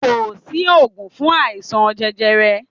Ko si ògùn fun aisan jẹjẹrẹ